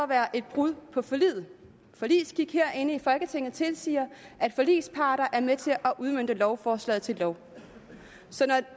være et brud på forliget forligsskik herinde i folketinget tilsiger at forligsparter er med til at udmønte lovforslaget til lov så når